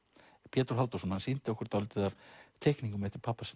Pétur Halldórsson hann sýndi okkur dálítið af teikningum eftir pabba sinn